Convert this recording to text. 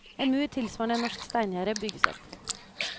En mur, tilsvarende et norsk steingjerde, bygges opp.